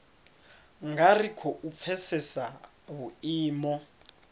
nga ri khou pfesesa vhuimo